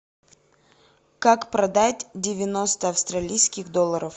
как продать девяносто австралийских долларов